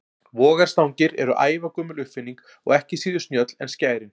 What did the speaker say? Vogarstangir eru ævagömul uppfinning og ekki síður snjöll en skærin.